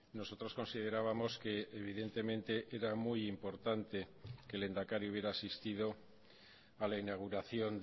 nosotros considerábamos que evidentemente era muy importante que el lehendakari hubiera asistido a la inauguración